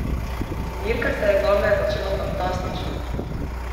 Dirka se je zame začela fantastično!